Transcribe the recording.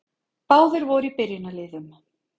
Báðir voru í byrjunarliðum.